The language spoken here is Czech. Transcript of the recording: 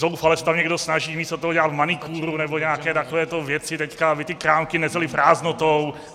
Zoufale se tam někdo snaží místo toho dělat manikúru nebo nějaké takovéto věci teď, aby ty krámky nezely prázdnotou.